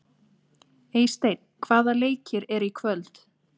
Eysteinn, hvaða leikir eru í kvöld?